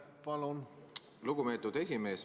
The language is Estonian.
Aitäh, lugupeetud esimees!